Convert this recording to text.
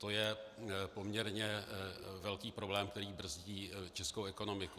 To je poměrně velký problém, který brzdí českou ekonomiku.